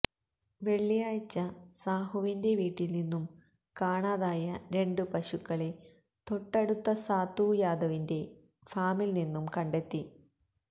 വെള്ളിയാഴ്ച സാഹുവിന്റെ വീട്ടില്നിന്നും കാണാതായ രണ്ട് പശുക്കളെ തൊട്ടടുത്ത സാത്തു യാദവിന്റെ ഫാമില്നിന്നും കണ്ടെത്തി